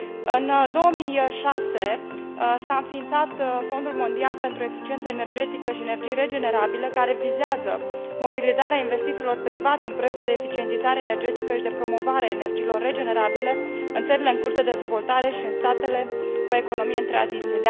În 2006, s a înființat Fondul mondial pentru eficiență energetică și energii regenerabile, care vizează mobilizarea investițiilor private în proiecte de eficientizare energetică și de promovare a energiilor regenerabile în țările în curs de dezvoltare și în statele cu economie în tranziție.